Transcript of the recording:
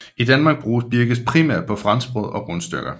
I Danmark bruges birkes primært på franskbrød og rundstykker